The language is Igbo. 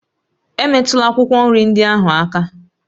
Emetụla akwụkwọ nri ndị ahụ aka!